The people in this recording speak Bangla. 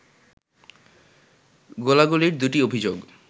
গোলাগুলির দুটি অভিযোগ